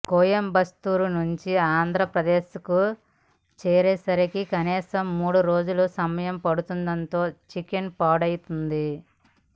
కోయంబత్తూరు నుంచి ఆంధ్రప్రదేశ్కు చేరేసరికి కనీసం మూడు రోజుల సమయం పడుతుండటంతో చికెన్ పాడైపోతోంది